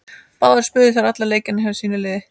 Báðar spiluðu þær allan leikinn hjá sínu liði.